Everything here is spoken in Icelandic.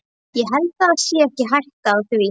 Ég held það sé ekki hætta á því.